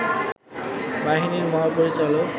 বাহিনীর মহাপরিচালক